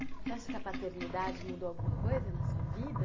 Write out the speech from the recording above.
Você acha que a paternidade mudou alguma coisa na sua vida?